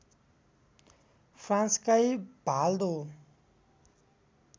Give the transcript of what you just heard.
फ्रान्सकै भाल दो